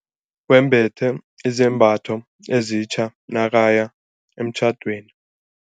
Wembethe izambatho ezitja nakaya emtjhadweni.